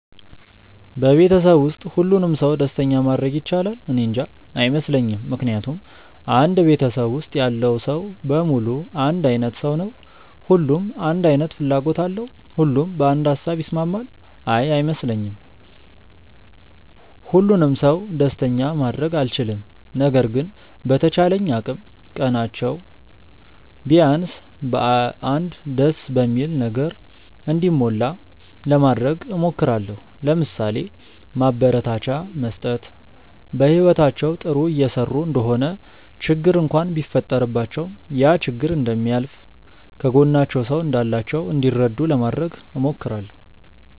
በቤተሰብ ውስጥ ሁሉንም ሰው ደስተኛ ማድረግ ይቻላል? እኔንጃ። አይመስለኝም ምክንያቱም አንድ ቤተሰብ ውስጥ ያለው ሰው በሙሉ አንድ አይነት ሰው ነው? ሁሉም አንድ አይነት ፍላጎት አለው? ሁሉም በአንድ ሃሳብ ይስማማል? አይ አይመስለኝም። ሁሉንም ሰው ደስተኛ ማድረግ አልችልም። ነገር ግን በተቻለኝ አቅም ቀናቸው ቢያንስ በ አንድ ደስ በሚል ነገር እንዲሞላ ለማድረግ እሞክራለው። ለምሳሌ፦ ማበረታቻ መስጠት፣ በህይወታቸው ጥሩ እየሰሩ እንደሆነ ችግር እንኳን ቢፈጠረባቸው ያ ችግር እንደሚያልፍ፣ ከጎናቸው ሰው እንዳላቸው እንዲረዱ ለማድረግ እሞክራለው።